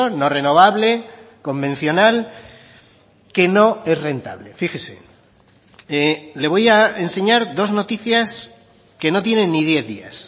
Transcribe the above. no renovable convencional que no es rentable fíjese le voy a enseñar dos noticias que no tienen ni diez días